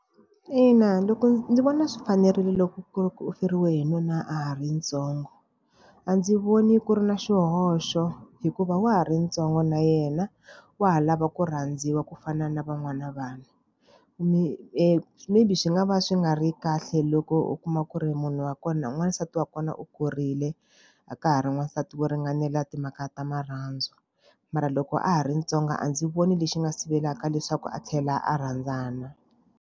Ina loko ndzi vona swi fanerile loko ku hi ri ku feriwe hi nuna a ha ri ntsongo. A ndzi voni ku ri na xihoxo, hikuva wa ha ri ntsongo na yena, wa ha lava ku rhandziwa ku fana na van'wana vanhu. maybe swi nga va swi nga ri kahle loko u kuma ku ri munhu wa kona n'wansati wa kona u kurile, a ka ha ri n'wansati wo ringanela timhaka ta marhandzu. Mara loko a ha ri ntsongo a ndzi voni lexi nga sivelaka leswaku a tlhela a rhandzana.